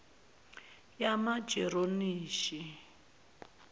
yamageronishi